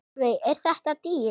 Sólveig: Er þetta dýrt?